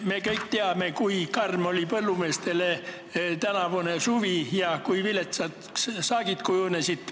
Me kõik teame, kui karm oli põllumeestele tänavune suvi ja kui viletsaks kujunesid saagid.